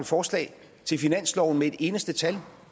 forslag til finansloven med et eneste tal